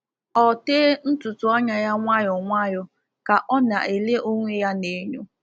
Ọ tee ntutu anya ya nwayọ nwayọ ka o na-ele onwe ya n’enyo.